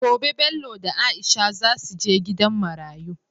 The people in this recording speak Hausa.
Gobe Bello da aisha zasu je gidan marayu